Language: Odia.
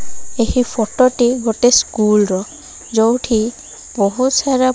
ଏହି ଫଟ ଟି ଗୋଟେ ସ୍କୁଲ ର ଯୋଉଠି ବୋହୁତ ସାରା --